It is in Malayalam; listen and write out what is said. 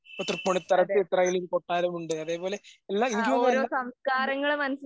ഇപ്പ തൃപ്പൂണിത്തറ തിത്തറയും കൊട്ടാരമുണ്ട്. അതേപോലെ